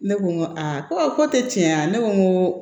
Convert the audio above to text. Ne ko n ko aa ko tɛ tiɲɛ ye ne ko n ko